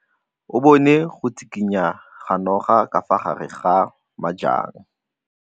O bone go tshikinya ga noga ka fa gare ga majang.